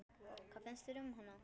Hvað finnst þér um hana?